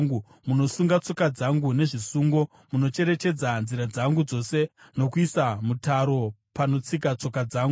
Munosunga tsoka dzangu nezvisungo; munocherechedza nzira dzangu dzose nokuisa mutaro panotsika tsoka dzangu.